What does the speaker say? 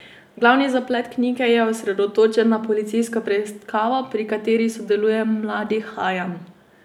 Glavni zaplet knjige je osredotočen na policijsko preiskavo, pri kateri sodeluje mladi Hajam.